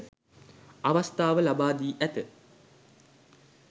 අවස්ථාව ලබා දී ඇත.